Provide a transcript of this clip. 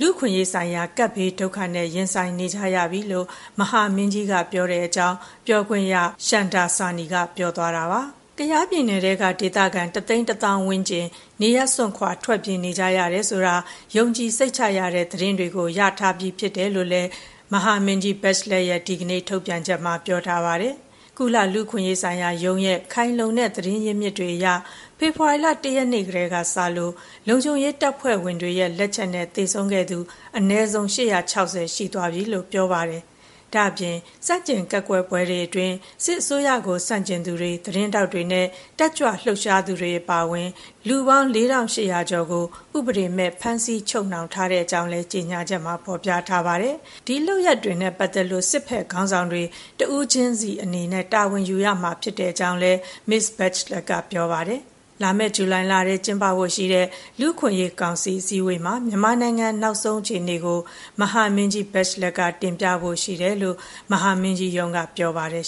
လူ့အခွင့်အရေးဆိုင်ရာ ကပ်ဘေးဒုက္ခနဲ့ ရင်ဆိုင်နေကြရပြီ” လို့ မဟာမင်းကြီးကပြောတဲ့အကြောင်း ပြောခွင့်ရ ရှမ်ဒါဆာနီက ပြောသွားပါတယ်။ ကယားပြည်နယ်ထဲက ဒေသခံ ၁၁၀,၀၀၀ ဝန်းကျင် နေရပ်စွန့်ခွါ ထွက်ပြေးနေကြရတယ်ဆိုတာ ယုံကြည်စိတ်ချရတဲ့သတင်းတွေကို ရရှိထားတယ်လို့လည်း မဟာမင်းကြီး Bachelet ရဲ့ ဒီကနေ့ ထုတ်ပြန်ချက်ထဲမှာ ပြောထားပါတယ်။ ကုလလူ့အခွင့်အရေးဆိုင်ရာရုံးရဲ့ ခိုင်လုံတဲ့ သတင်းရင်းမြစ်တွေအရ ဖေဖေါ်ဝါရီလ ၁ ရက်နေ့ ကတည်းက စလို့ လုံခြုံရေးတပ်ဖွဲ့ဝင်တွေရဲ့လက်ချက်နဲ့ သေဆုံးခဲ့သူ အနည်းဆုံး ၈၆၀ ရှိသွားပြီလို့ ပြောပါတယ်။ ဒါ့အပြင် ဆန့်ကျင်ကန့်ကွက်ပွဲတွေအတွင်း စစ်အစိုးရကို ဆန့်ကျင်သူတွေ၊ သတင်းထောက်တွေနဲ့ တက်ကြွလှုပ်ရှားသူတွေအပါအဝင် လူပေါင်း ၄,၈၀၀ ကျော်ကို ဥပဒေမဲ့ ဖမ်းဆီးချုပ်နှောင်ထားကြောင်း လည်း ကြေညာချက်မှာ ဖော်ပြထားပါတယ်။ ဒီလုပ်ရပ်တွေနဲ့ပတ်သက်လို့ စစ်ဘက်ခေါင်းဆောင်တွေ တဦးချင်းစီအနေနဲ့ တာဝန်ယူရမှာ ဖြစ်ကြောင်းလည်း မစ္စဘက်ချ်လက်က ပြောပါတယ်။ လာမယ့် ဇူလိုင်လထဲ ကျင်းပဖို့ရှိတဲ့ လူ့အခွင့်အရေးကောင်စီအစည်းအဝေးမှာ မြန်မာနိုင်ငံရဲ့ နောက်ဆုံးအခြေအနေကို မဟာမင်းကြီး Bachelet က တင်ပြဖို့ရှိတယ်လို့ မဟာမင်းကြီးရုံးက ပြောပါတယ်